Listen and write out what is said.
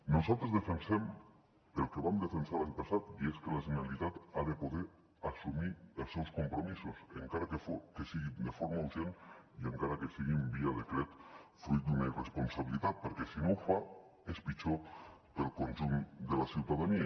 nosaltres defensem el que vam defensar l’any passat i és que la generalitat ha de poder assumir els seus compromisos encara que sigui de forma urgent i encara que sigui en via decret fruit d’una irresponsabilitat perquè si no ho fa és pitjor per al conjunt de la ciutadania